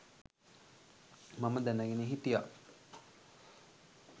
මම දැනගෙන හිටියා.